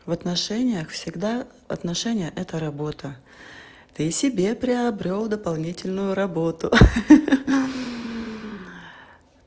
в отношениях всегда отношения это работа ты себе приобрёл дополнительную работу хи-хи